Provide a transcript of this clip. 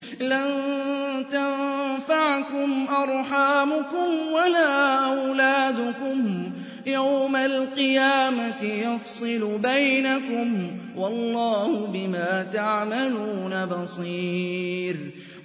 لَن تَنفَعَكُمْ أَرْحَامُكُمْ وَلَا أَوْلَادُكُمْ ۚ يَوْمَ الْقِيَامَةِ يَفْصِلُ بَيْنَكُمْ ۚ وَاللَّهُ بِمَا تَعْمَلُونَ بَصِيرٌ